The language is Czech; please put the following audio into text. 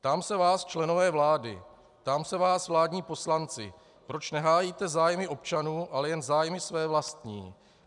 Ptám se vás, členové vlády, ptám se vás, vládní poslanci, proč nehájíte zájmy občanů, ale jen zájmy své vlastní.